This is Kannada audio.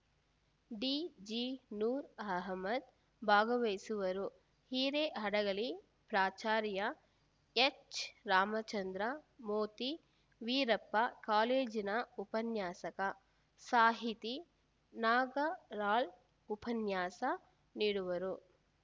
ಡಿಜಿ ನೂರ್‌ ಅಹ್ಮದ್‌ ಭಾಗವಹಿಸುವರು ಹಿರೇಹಡಗಲಿ ಪ್ರಾಚಾರ್ಯ ಎಚ್‌ರಾಮಚಂದ್ರ ಮೋತಿ ವೀರಪ್ಪ ಕಾಲೇಜಿನ ಉಪನ್ಯಾಸಕ ಸಾಹಿತಿ ನಾಗರಾಳ್‌ ಉಪನ್ಯಾಸ ನೀಡುವರು